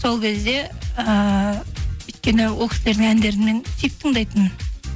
сол кезде ііі өйткені ол кісілердің әндерін мен сүйіп тыңдайтынмын